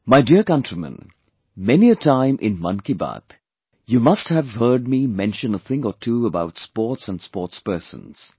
My dear countrymen, many a time in 'Mann Ki Baat', you must have heard me mention a thing or two about sports & sportspersons